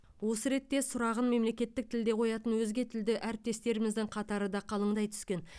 осы ретте сұрағын мемлекеттік тілде қоятын өзге тілді әріптестеріміздің қатары да қалыңдай түскен